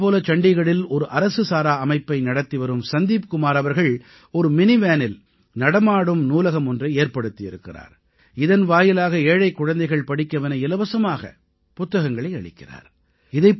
இதே போல சண்டீகடில் ஒரு அரசு சாரா அமைப்பை நடத்திவரும் சந்தீப் குமார் அவர்கள் ஒரு மினிவேனில் நடமாடும் நூலகம் ஒன்றை ஏற்படுத்தி இருக்கிறார் இதன் வாயிலாக ஏழைக் குழந்தைகள் படிக்கவென இலவசமாகப் புத்தகங்களை அளிக்கிறார்